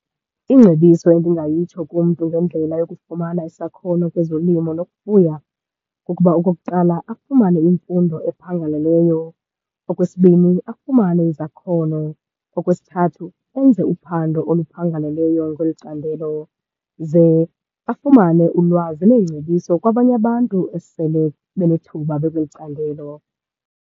Ingcebiso endingayitsho kumntu ngendlela yokufumana isakhono kwezolimo nokufuya kukuba okokuqala afumane imfundo ephangaleleyo. Okwesibini afumane izakhono. Okwesithathu enze uphando oluphangaleleyo kweli candelo ze afumane ulwazi neengcebiso kwabanye abantu esele benethuba bekweli candelo.